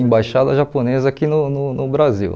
Embaixada japonesa aqui no no no Brasil.